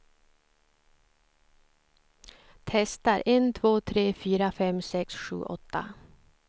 Testar en två tre fyra fem sex sju åtta.